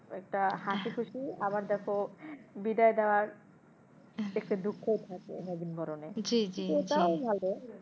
ওইটা হাসিখুশি আবার দেখো, বিদায় দেওয়ার একটা দুঃখ ও থাকে নবীনবরণে,